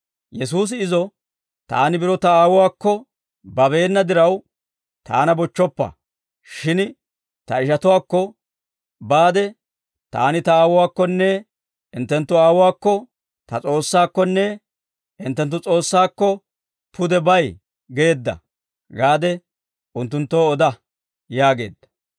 Yesuusi izo, «Taani biro Ta Aawuwaakko babeena diraw, Taana bochchoppa; shin Ta ishatuwaakko baade, ‹Taani Ta Aawuwaakkonne hinttenttu Aawuwaakko, Ta S'oossaakkonne hinttenttu S'oossaakko, pude bay geedda› gaade unttunttoo oda» yaageedda.